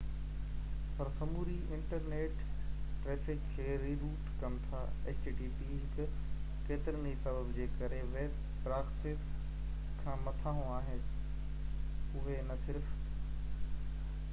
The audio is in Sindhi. اهي ڪيترن ئي سبب جي ڪري ويب پراڪسيز کان مٿانهون آهن اهي نہ صرف http پر سموري انٽرنيٽ ٽرئفڪ کي ري-روٽ ڪن ٿا